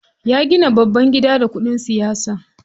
Ya gina babban gida da kuɗin siyasa.